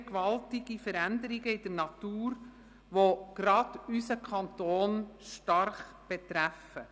Es geschehen gewaltige Veränderungen in der Natur, die gerade unseren Kanton stark betreffen.